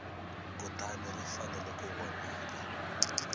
kutani ri fanele ku vonaka